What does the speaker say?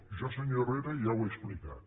jo senyor herrera ja ho he explicat